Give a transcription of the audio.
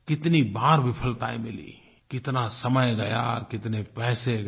कितनी बार विफलताएँ मिली कितना समय गया कितने पैसे गए